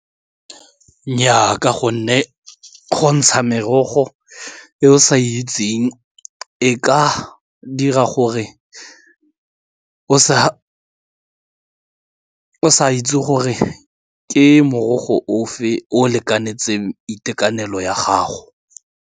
Nnyaa, ka gonne go ntsha merogo e o sa itseng e ka dira gore o sa itse gore ke morogo o fe o lekanetse itekanelo ya gago.